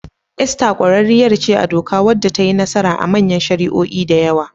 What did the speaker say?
Esther ƙwararriyar ce a doka wadda ta yi nasara a manyan shari'o'i da yawa.